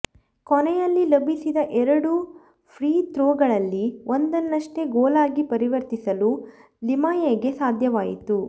ಕೊನೆಯಲ್ಲಿ ಲಭಿಸಿದ ಎರಡು ಫ್ರೀ ಥ್ರೋಗಳಲ್ಲಿ ಒಂದನ್ನಷ್ಟೇ ಗೋಲಾಗಿ ಪರಿವರ್ತಿಸಲು ಲಿಮಯೆಗೆ ಸಾಧ್ಯವಾಯಿತು